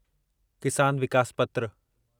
किसान विकास पत्र